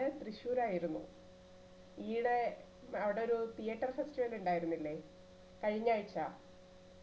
ന് തൃശൂരായിരുന്നു ഈഇടെ അവിടൊരു theatre festival ഉണ്ടായിരുന്നില്ലേ കഴിഞ്ഞ ആഴ്ച